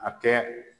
A kɛ